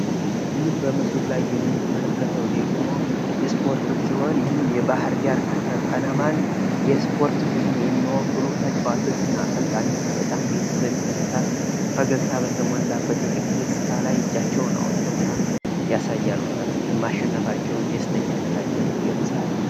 ይህ በምስሉ ላይ የምንመለከተው ደግሞ እስፖርት ሲሆን፤ የባህርዳር ከነማን የ እስፖርት ቡድን የሚወክሉ ተጫዋቾች እና አሰልጣኞች በጣም ደስ በሚል ሁኔታ ፣ ፈገግታ በተሞላበት ፊት የሚያሳይ ሲሆን ማሸነፋቸውን ይገልጻል።